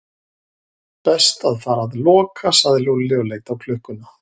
Best að fara að loka sagði Lúlli og leit á klukkuna.